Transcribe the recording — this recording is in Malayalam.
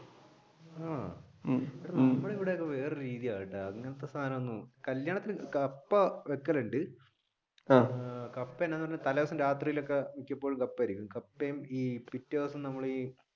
ആഹ് നമ്മളുടെ ഇവിടെയൊക്കെ വേറെ രീതിയാണ് അങ്ങനത്തെ സാധനമൊന്നും കല്യാണത്തിന് കപ്പ വെക്കലുണ്ട്